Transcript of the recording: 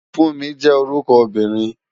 Funmi jé órúkò óbìrín